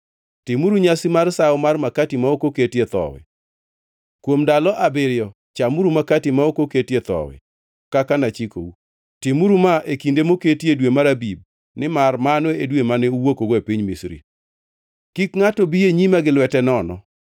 “Timuru nyasi mar sawo mar makati ma ok oketie thowi; kuom ndalo abiriyo chamuru Makati ma ok oketie thowi, kaka nachikou. Timuru ma e kinde moketi e dwe mar Abib, nimar mano e dwe mane uwuokgo e piny Misri. “Kik ngʼato bi e nyima gi lwete nono.